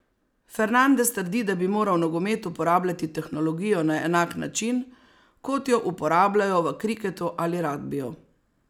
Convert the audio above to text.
Fernandes trdi, da bi moral nogomet uporabljati tehnologijo na enak način, kot jo uporabljajo v kriketu ali ragbiju.